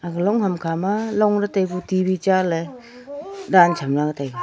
aga long ham khama long ley tai kya T V ta ley dan chem taiga.